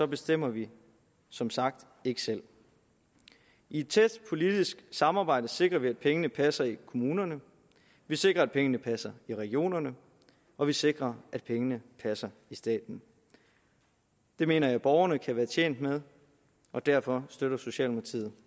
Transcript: bestemmer vi som sagt ikke selv i et tæt politisk samarbejde sikrer vi at pengene passer i kommunerne vi sikrer at pengene passer i regionerne og vi sikrer at pengene passer i staten det mener jeg borgerne kan være tjent med og derfor støtter socialdemokratiet